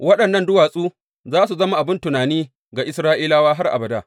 Waɗannan duwatsu za su zama abin tuni ga Isra’ilawa har abada.